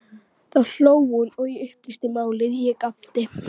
Þá hló hún og upplýsti málið, ég gapti.